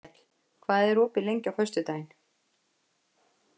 Vékell, hvað er opið lengi á föstudaginn?